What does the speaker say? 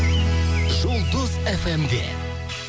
жұлдыз фм де